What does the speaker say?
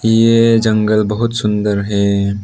ये जंगल बहुत सुंदर है।